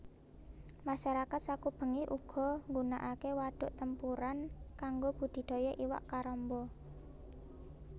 Masyarakat sakubengé uga nggunaaké Waduk Tempuran kanggo budidaya iwak karamba